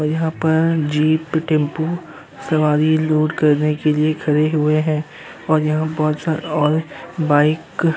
यहाँ पर jeep tempo सवारी लोड करने के लिए खड़े हुये हैं और यहाँ बहोत सारा और बाइक --